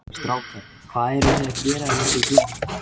Strákar, hvað eruð þið að gera hérna úti í glugga?